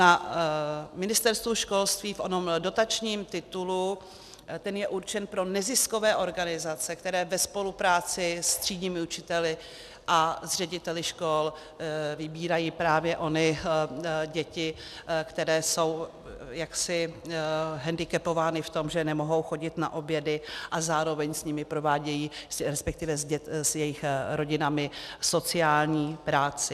Na Ministerstvu školství v onom dotačním titulu, ten je určen pro neziskové organizace, které ve spolupráci s třídními učiteli a s řediteli škol vybírají právě ony děti, které jsou jaksi hendikepovány v tom, že nemohou chodit na obědy, a zároveň s nimi provádějí, respektive s jejich rodinami sociální práci.